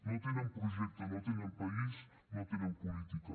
no tenen projecte no tenen país no tenen política